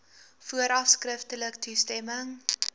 vooraf skriftelik toestemming